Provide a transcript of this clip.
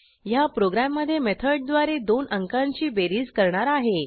ह्या प्रोग्रॅममधे मेथडद्वारे दोन अंकांची बेरीज करणार आहे